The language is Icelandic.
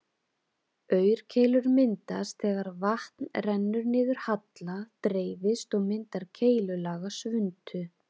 Aurkeilur myndast þegar vatn rennur niður halla, dreifist og myndar keilulaga svuntu.